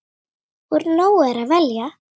Úr nógu er að velja!